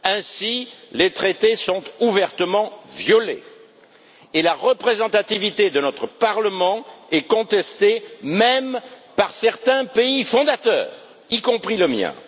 Ainsi, les traités sont ouvertement violés et la représentativité de notre Parlement est contestée, même par certains pays fondateurs, y compris le mien.